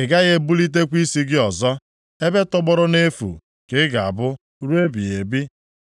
Ị gaghị ebulitekwa isi gị ọzọ. Ebe tọgbọrọ nʼefu ka ị ga-abụ ruo ebighị ebi.